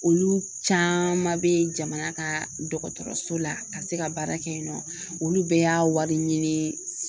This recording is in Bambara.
Olu caaman be ye jamana ka dɔgɔtɔrɔso la ka se ka baara kɛ yen nɔ olu bɛɛ y'a wari ɲini